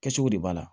Kɛcogo de b'a la